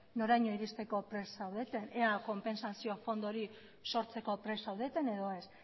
noraino iristeko prest zaudeten ea kopentsazio fondo hori sortzeko prest zaudeten edo ez